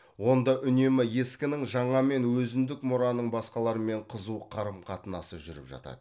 онда үнемі ескінің жаңамен өзіндік мұраның басқалармен қызу қарым қатынасы жүріп жатады